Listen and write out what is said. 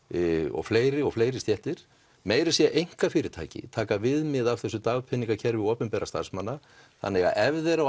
og fleiri og fleiri stéttir meira að segja einkafyrirtæki taka viðmið af þessu dagpeningakerfi opinberra starfsmanna þannig að ef þeir á